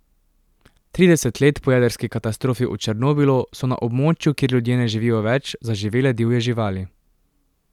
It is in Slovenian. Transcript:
Trideset let po jedrski katastrofi v Černobilu, so na območju, kjer ljudje ne živijo več, zaživele divje živali.